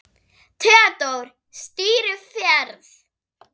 Theódór stýrir ferð.